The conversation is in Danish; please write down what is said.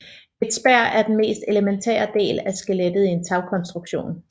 Et spær er den mest elementære del af skelettet i en tagkonstruktion